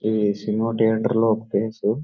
ఇది cinema theatre లో ఒక ప్లేసు .